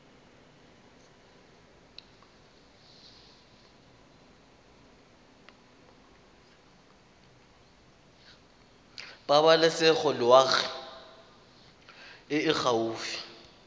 pabalesego loago e e gaufi